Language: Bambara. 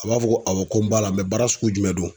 A b'a fɔ ko awɔ ko n b'a la baara sugu jumɛn don.